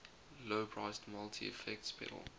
low priced multi effects pedal